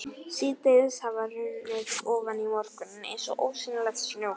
Síðdegið hafði hrunið ofan í morguninn eins og ósýnilegt snjóflóð.